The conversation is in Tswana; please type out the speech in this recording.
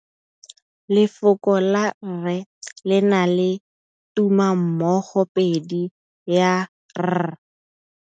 Lefoko la rre le na le tumammogôpedi ya, r.